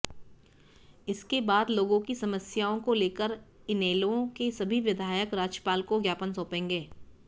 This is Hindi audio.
इसके बाद लोगों की समस्याओं को लेकर इनेलो के सभी विधायक राज्यपाल को ज्ञापन सौंपेंगे